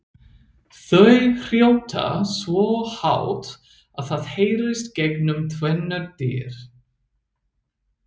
Þau hrjóta svo hátt að það heyrist gegnum tvennar dyr!